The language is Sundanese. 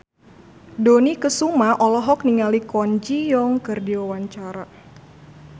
Dony Kesuma olohok ningali Kwon Ji Yong keur diwawancara